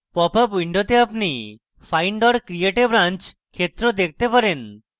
pop up window আপনি find or create a branch ক্ষেত্র দেখতে পারেন